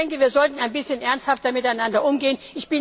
Ich denke, wir sollten ein bisschen ernsthafter miteinander umgehen.